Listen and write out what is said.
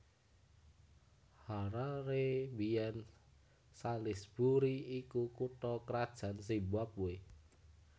Harare biyèn Salisbury iku kutha krajan Zimbabwe